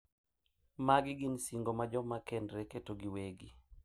Magi gin singo ma joma kendre keto giwegi.